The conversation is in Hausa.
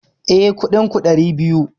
Eh, Kuɗin ku ɗari biyu